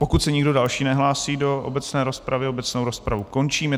Pokud se nikdo další nehlásí do obecné rozpravy, obecnou rozpravu končím.